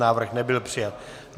Návrh nebyl přijat.